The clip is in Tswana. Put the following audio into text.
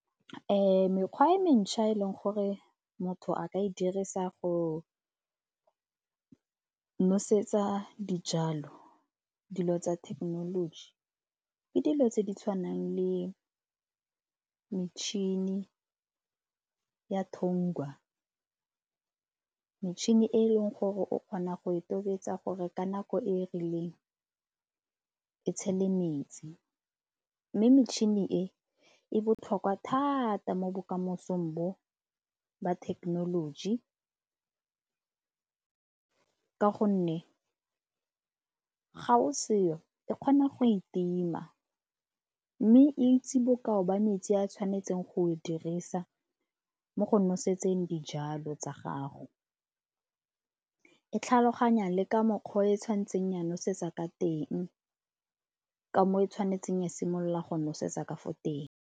Mekgwa mentšha e e leng gore motho a ka e dirisa go nosetsa dijalo, dilo tsa thekenoloji, ke dilo tse di tshwanang le metšhini ya . Metšhini e e leng gore o kgona go e tobetsa gore ka nako e e rileng e tshele metsi mme metšhini e e botlhokwa thata mo bokamosong bo ba thekenoloji ka gonne ga o seo e kgona go e tima, mme e itse bokao ba metsi a tshwanetseng go e dirisa mo go nosetseng dijalo tsa gago. E tlhaloganya le ka mokgwa o e tshwanetseng ya nosetsa ka teng, ka mo e tshwanetseng e simolola go nosetsa ka fa teng.